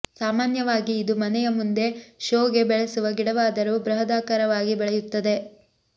ಸಾಮಾನ್ಯವಾಗಿ ಇದು ಮನೆಯ ಮುಂದೆ ಶೋಗೆ ಬೆಳೆಸುವ ಗಿಡವಾದರೂ ಬೃಹದಾಕಾರವಾಗಿ ಬೆಳೆಯುತ್ತದೆ